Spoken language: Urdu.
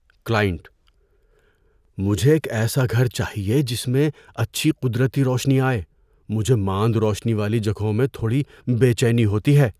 کلائنٹ: "مجھے ایک ایسا گھر چاہیے جس میں اچھی قدرتی روشنی آئے؛ مجھے ماند روشنی والی جگہوں میں تھوڑی بے چینی ہوتی ہے۔"